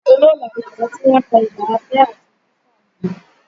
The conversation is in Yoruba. Olóólà ni àwọn tí wọ́n ń kọ ilà abẹ́ àti ojú fún àwọn ènìyàn